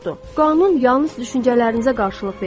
Qanun yalnız düşüncələrinizə qarşılıq verir.